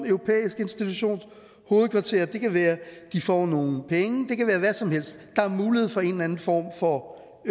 europæisk institutions hovedkvarter det kan være at de får nogle penge det kan være hvad som helst der er mulighed for en eller anden form for